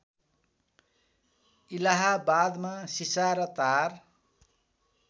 इलाहाबादमा सिसा र तार